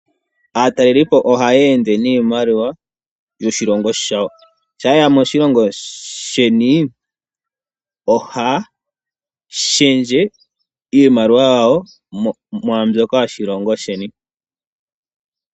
Aatalelipo oha yende niimaliwa yoshilongo shawo sha yeya moshilongo sheni ohaya shendje iimaliwa yawo mwa mbyoka yoshilongo sheni.